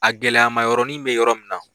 A gɛlɛyamayɔrɔnin bɛ yɔrɔ min na